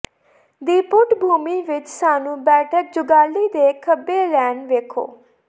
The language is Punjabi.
ਦੀ ਪਿੱਠਭੂਮੀ ਵਿਚ ਸਾਨੂੰ ਬੈਠਕ ਜੁਗਾਲੀ ਦੇ ਖੱਬੇ ਲੇਨ ਵੇਖੋ